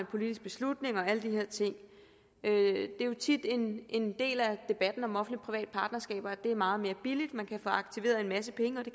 politiske beslutninger og alle de her ting det er jo tit en en del af debatten om offentlig private partnerskaber at det er meget mere billigt man kan få aktiveret en masse penge det